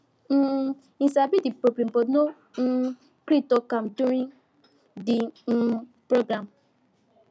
um him sabi the problem but no um gree talk am during the um program